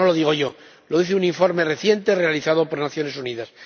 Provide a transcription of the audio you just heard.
Y esto no lo digo yo lo dice un informe reciente realizado por las Naciones Unidas.